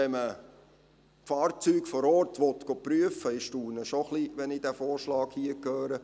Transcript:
Wenn man Fahrzeuge vor Ort prüfen lassen will … Ich staune schon ein wenig, wenn ich diesen Vorschlag hier höre: